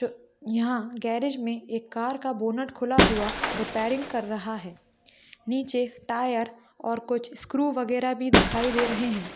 यहां गैरिज में एक कार का बोनेट खुला हुआ रिपेयरिंग कर रहा है नीचे टायर और कुछ स्क्रू वगैरह भी दिखाई दे रहे हैं।